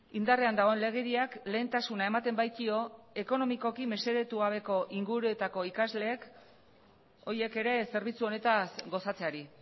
indarrean dagoen legediak lehentasuna ematen baitio ekonomikoki mesedetu gabeko inguruetako ikasleek horiek ere zerbitzu honetaz gozatzeari